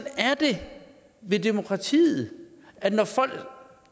er det med demokratiet at når folk